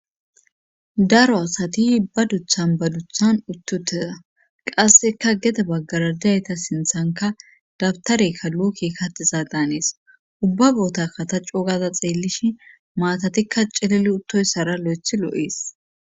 daro asati ba guthan ba guthan uttutea qasseka gete baggaradeayta sinthanka dabtarekka luuki katisaa daanees ubba boota kata cogaza xeelishi maatatikka cilili uttoyssara lo7eth loo7ees